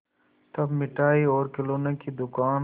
तब मिठाई और खिलौने की दुकान